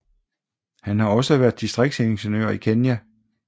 Han har også været distriktsingeniør i Kenya